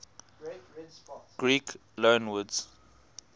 greek loanwords